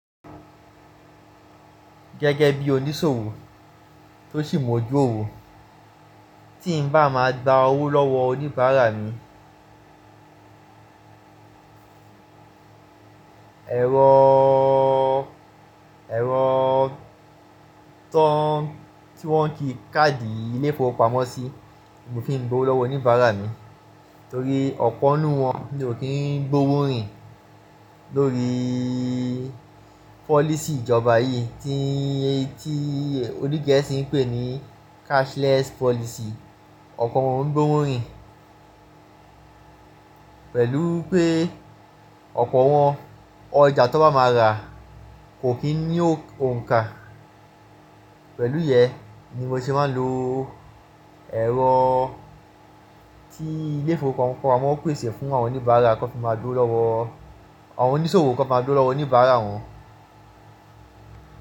Gẹ́gẹ́ bí oníṣòwò tó sì mọ̀ ojú òwò, tí n bá máa gba owó lọ́wọ́ oníbàárà mi, ẹ̀rọ, ẹ̀rọ tó tí wọ́n ń ki káàdì ilé-ìfowópamọ́sí mo fi ń gbowó lọ́wọ́ oníbàárà mi torí ọ̀pọ̀ n nu wọn ni ò kí ń gbówó rìn lórí policy ìjọba yìí tí, tí onigeesì ń pè ní cashless policy. Ọ̀pọ̀ wọn oun gbówó rìn pẹ̀lú pé ọ̀pọ̀ wọn ọjà to bá máa rà kò kí ń ní òǹkà. Pẹ̀lú yẹ ni mo ṣe máa ń lo ẹ̀rọ tí ilé-ìfowó pamọ́ péṣè fún àwọn oníbàárà kí wọ́n fi máa dogbo lọ́wọ́, àwọn oníṣòwò kó máa gbowo lọ́wọ́ oníbàárà wọn.